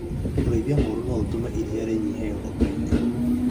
Ũrĩithia mũrũ no ũtũme iria rĩnyihe ng'ombe-inĩ